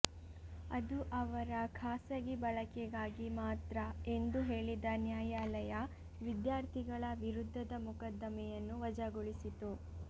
ಅದು ಅವರ ಖಾಸಗಿ ಬಳಕೆಗಾಗಿ ಮಾತ್ರ ಎಂದು ಹೇಳಿದ ನ್ಯಾಯಾಲಯ ವಿದ್ಯಾರ್ಥಿಗಳ ವಿರುದ್ಧದ ಮೊಕದ್ದಮೆಯನ್ನು ವಜಾಗೊಳಿಸಿತು